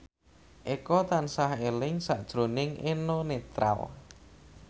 Eko tansah eling sakjroning Eno Netral